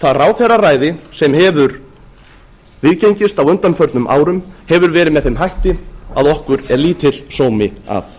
það ráðherraræði sem hefur viðgengist á undanförnum árum hefur verið með þeim hætti að okkur er lítill sómi að